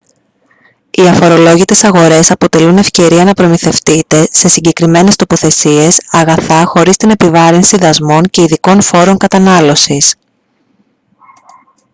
οι αφορολόγητες αγορές αποτελούν ευκαιρία να προμηθευτείτε σε συγκεκριμένες τοποθεσίες αγαθά χωρίς την επιβάρυνση δασμών και ειδικών φόρων κατανάλωσης